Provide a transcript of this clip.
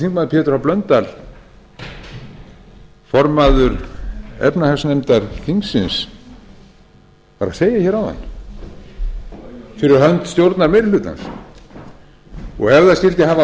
háttvirtur þingmaður pétur h blöndal formaður efnahagsnefndar þingsins var að segja hér áðan fyrir hönd stjórnarmeirihlutans ef það skyldi hafa